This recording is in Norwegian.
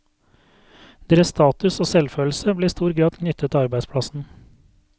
Deres status og selvfølelse ble i stor grad knyttet til arbeidsplassen.